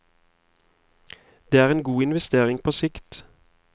Det er en god investering på sikt.